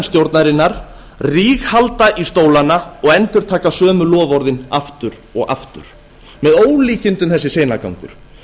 stjórnarinnar ríghalda í stólana og endurtaka sömu loforðin aftur og aftur með ólíkindum þessi seinagangur